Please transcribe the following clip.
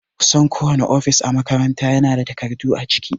Kusan kowane ofis a makaranta ya na da takardu a ciki